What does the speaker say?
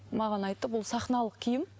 маған айтты бұл сахналық киім